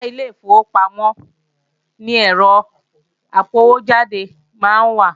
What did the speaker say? Ìta ilé ìfowópamọ́ ni ẹ́rọ apọwójáde máa ń wà